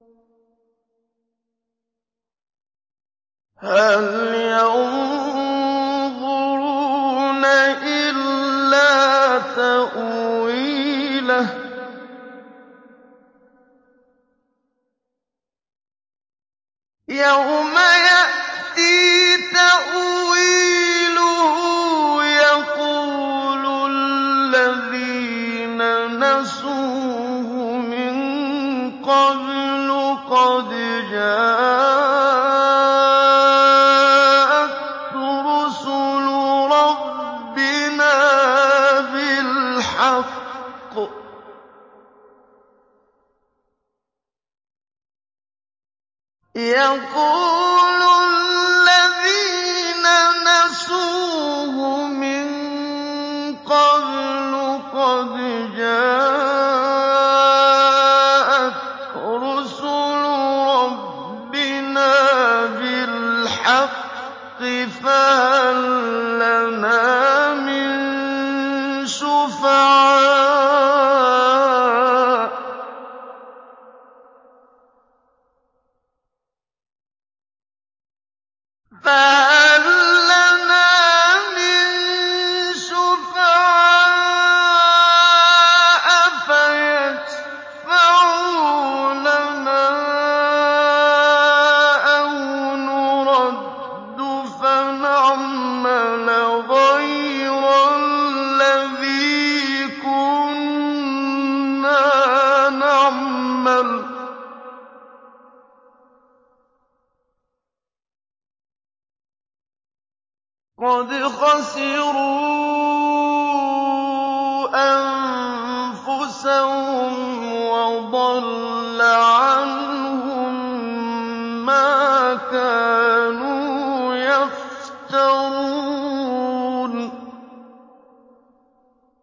هَلْ يَنظُرُونَ إِلَّا تَأْوِيلَهُ ۚ يَوْمَ يَأْتِي تَأْوِيلُهُ يَقُولُ الَّذِينَ نَسُوهُ مِن قَبْلُ قَدْ جَاءَتْ رُسُلُ رَبِّنَا بِالْحَقِّ فَهَل لَّنَا مِن شُفَعَاءَ فَيَشْفَعُوا لَنَا أَوْ نُرَدُّ فَنَعْمَلَ غَيْرَ الَّذِي كُنَّا نَعْمَلُ ۚ قَدْ خَسِرُوا أَنفُسَهُمْ وَضَلَّ عَنْهُم مَّا كَانُوا يَفْتَرُونَ